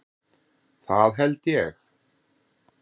Það held ég.